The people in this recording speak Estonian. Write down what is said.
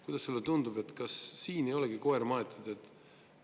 Kuidas sulle tundub, kas siia ei olegi koer maetud?